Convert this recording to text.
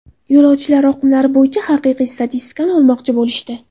Yo‘lovchilar oqimlari bo‘yicha haqiqiy statistikani olmoqchi bo‘lishdi.